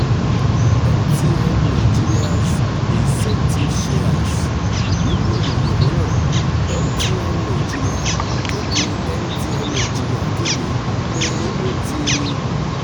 mtn nigeria's incentive shares: nínú ìròyìn mìíràn mtn nigeria kéde mtn nigeria kéde pé ó ti